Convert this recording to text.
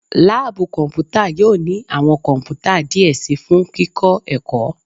Laabu kọnputa yoo ni awọn kọnputa diẹ sii fun kikọ ẹkọ